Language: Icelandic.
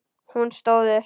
Hún stóð upp.